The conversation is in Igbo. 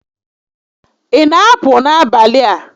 Ị na apụ n'abalị a?